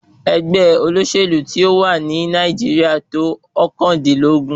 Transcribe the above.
Ẹgbẹ́ olóṣèlú tí ó wà ní Nàìjíríà tó ọ̀kàndínlógún.